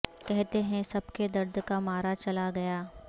کہتے ہیں سب کے درد کا مارا چلا گیا